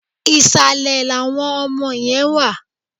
Ìsàlẹ̀ làwọn ọmọ yẹn wà.